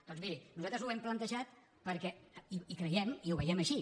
doncs miri nosaltres ho hem plantejat perquè hi creiem i ho veiem així